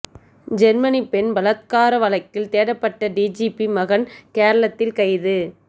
Germany பெண் பலாத்கார வழக்கில் தேடப்பட்ட டிஜிபி மகன் கேரளத்தில் கைது